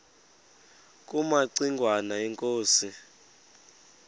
kumaci ngwana inkosi